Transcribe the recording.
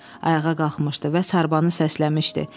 Ayağa qalxmışdı və sarbanı səsləmişdi.